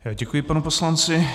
Děkuji panu poslanci.